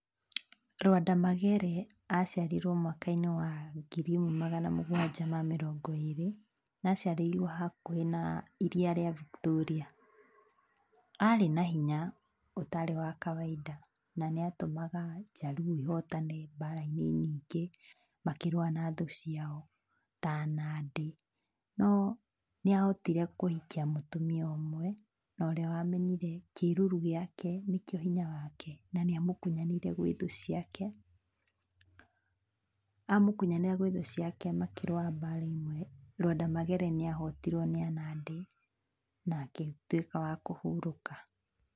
Lwanda Magere aciarirwo mwaka-inĩ wa ngiri ĩmwe magana mũgwanja ma mĩrongo ĩrĩ, na aciarĩirwo hakuhĩ na iria rĩa Victoria. Arĩ na hinya ũtarĩ wa kawainda na nĩ atũmaga jaruo ihotane mbara-inĩ nyingĩ makĩrũa na thũ ciao ta Nandĩ. No nĩ ahotire kũhikia mũtumia ũmwe, na ũrĩa wa menyire kĩruru gĩake nĩkĩo hinya wake, na nĩa mũkunyanĩire gwĩ thũ ciake, amũkunyanĩra gwĩ thĩ ciake makĩrũa mbara ĩmwe, Lwanda Magere nĩ ahotirwo nĩ a Nandĩ na agĩtuĩka wa kũhurũka.